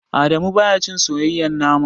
Adamu baya cin soyayyen nama.